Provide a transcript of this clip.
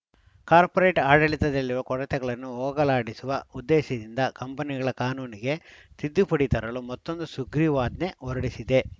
corporate ಆಡಳಿತದಲ್ಲಿರುವ ಕೊರತೆಗಳನ್ನು ಹೋಗಲಾಡಿಸುವ ಉದ್ದೇಶದಿಂದ ಕಂಪನಿಗಳ ಕಾನೂನಿಗೆ ತಿದ್ದುಪಡಿ ತರಲು ಮತ್ತೊಂದು ಸುಗ್ರೀವಾಜ್ಞೆ ಹೊರಡಿಸಿದೆ